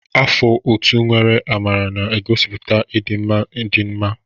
Afọ ọtú nwere amara na-egosipụta ịdị mma na ịdị mma.